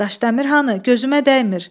Daşdəmir hanı, gözümə dəymir.